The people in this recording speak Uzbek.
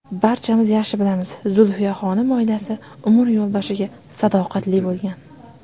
Barchamiz yaxshi bilamiz, Zulfiyaxonim oilasi, umr yo‘ldoshiga sadoqatli bo‘lgan.